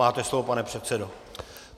Máte slovo, pane předsedo.